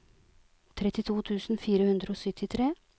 trettito tusen fire hundre og syttitre